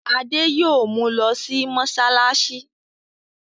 Adé yóò mu lọ sí mọ́ṣáláṣí.